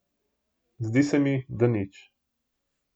Zdi se mi, da nič.